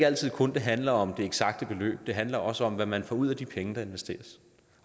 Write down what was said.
altid kun handler om det eksakte beløb det handler også om hvad man får ud af de penge der investeres